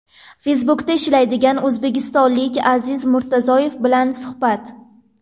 Facebook’da ishlaydigan o‘zbekistonlik Aziz Murtazoyev bilan suhbat.